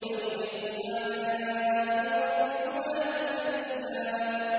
فَبِأَيِّ آلَاءِ رَبِّكُمَا تُكَذِّبَانِ